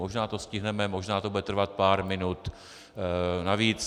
Možná to stihneme, možná to bude trvat pár minut navíc.